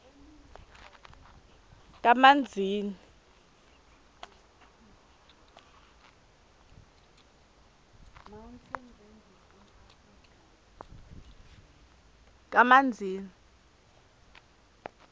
kamanzini